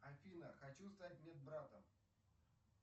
афина хочу стать медбратом